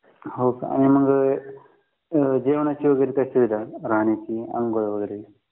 हो का मग जेवणाची वगैरे काही सुविधा आहे राहण्याची आंघोळ वगैरेची